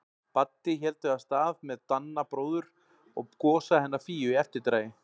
Baddi héldu af stað með Danna bróður og Gosa hennar Fíu í eftirdragi.